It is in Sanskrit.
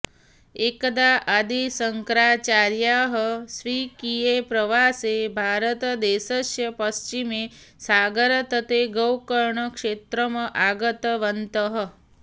एकदा आदिशंकराचार्याः स्वकीये प्रवासे भारतदेशस्य पश्चिमे सागरतटे गोकर्ण क्षेत्रम् आगतवन्तः